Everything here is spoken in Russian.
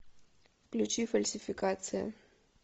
включи фальсификация